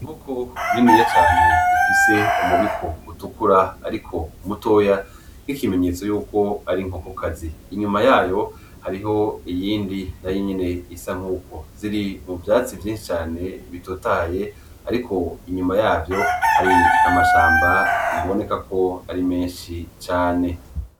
Inkoko niniya cane ifise umubiko utukura ariko mutoya nk’ikimenyetso yuko ari inkokokazi , inyuma yayo hariyo iyindi nayo nyene isa nk’uko ziri mu vyatsi vyinshi cane bitotahaye ariko inyuma yavyo hari amashamba biboneka ko ari menshi cane .